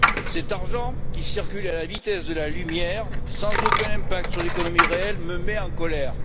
Cet argent, qui circule à la vitesse de la lumière, sans aucun impact sur l'économie réelle, me met en colère.